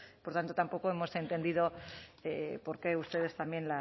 por tanto tampoco hemos entendido porqué ustedes también